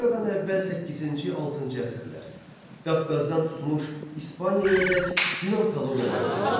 Eradan əvvəl səkkizinci-altıncı əsrlər Qafqazdan tutmuş İspaniyayadək Yunan koloniyaları salındı.